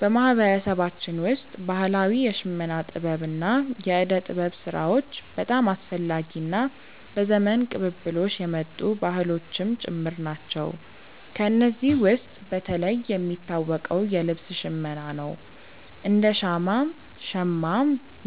በማህበረሰባችን ውስጥ ባህላዊ የሽመና ጥበብ እና የእደ ጥበብ ስራዎች በጣም አስፈላጊ እና በዘመን ቅብብሎሽ የመጡ ባህሎችም ጭምር ናቸው። ከእነዚህ ውስጥ በተለይ የሚታወቀው የልብስ ሽመና ነው፤ እንደ ሻማ (ሸማ)፣